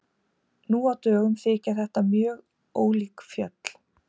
Nú á dögum þykja þetta mjög ólík fjöll.